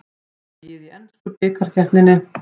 Dregið í ensku bikarkeppninni